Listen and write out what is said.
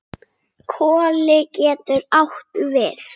Koli getur átt við